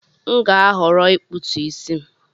M ga-ahọrọ ịkpụtu isi m